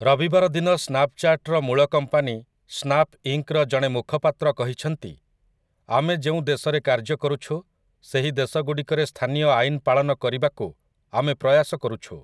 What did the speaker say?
ରବିବାର ଦିନ ସ୍ନାପ୍‌ଚାଟ୍‌ର ମୂଳ କମ୍ପାନୀ ସ୍ନାପ୍ ଇଙ୍କ୍‌ର ଜଣେ ମୁଖପାତ୍ର କହିଛନ୍ତି, ଆମେ ଯେଉଁ ଦେଶରେ କାର୍ଯ୍ୟ କରୁଛୁ ସେହି ଦେଶଗୁଡ଼ିକରେ ସ୍ଥାନୀୟ ଆଇନପାଳନ କରିବାକୁ ଆମେ ପ୍ରୟାସ କରୁଛୁ ।